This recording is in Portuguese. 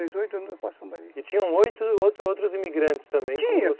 E tinham outros outros imigrantes também tinha